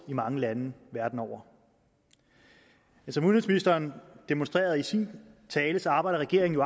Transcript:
i mange lande verden over som udenrigsministeren demonstrerede i sin tale arbejder regeringen